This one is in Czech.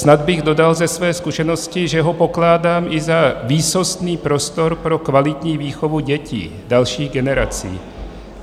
Snad bych dodal ze své zkušenosti, že ho pokládám i za výsostný prostor pro kvalitní výchovu dětí, dalších generací.